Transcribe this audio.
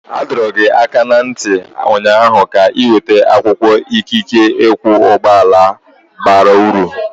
A dọrọ gị aka ná ntị ụnyaahụ ka ị weta akwụkwọ ikike ịkwọ ụgbọala bara uru!